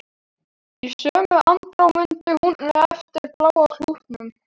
Í sömu andrá mundi hún eftir bláa klútnum.